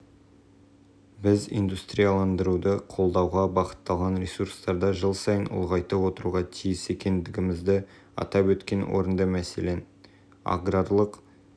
бұл ретте қазақстан президенті қаржыландыру мәселесі де аса маңызды екендігіне тоқталды халықаралық тәжірибе қаржыландыру болмаған жағдайда барынша мінсіз жасалған стратегияның өзі